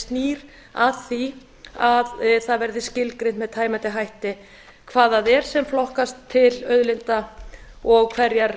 snýr að því að það verði skilgreint með tæmandi hætti hvað það er sem flokkast til auðlinda og hverjar